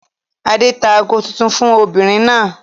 Adé tá ago tuntun fún obìnrin náà.